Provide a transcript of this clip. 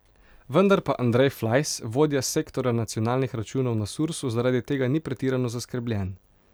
Vendar pa Andrej Flajs, vodja sektorja nacionalnih računov na Sursu, zaradi tega ni pretirano zaskrbljen.